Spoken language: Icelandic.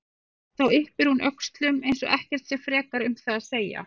En þá yppir hún öxlum eins og ekkert sé frekar um það að segja.